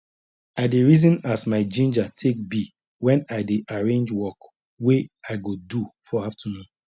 i dey reason as my ginger take be wen i dey arrange work wey i go do for afternoon